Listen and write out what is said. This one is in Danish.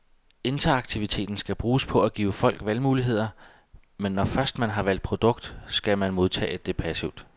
Interaktiviteten skal bruges på at give folk valgmuligheder, men når først man har valgt produkt, skal man modtage det passivt.